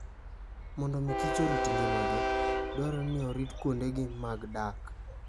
Mondo omi kich orit ngimagi, dwarore ni orit kuondegi mag dak.